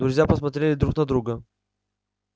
друзья посмотрели друт на друга